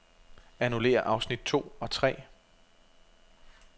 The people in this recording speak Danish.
Annullér afsnit to og tre.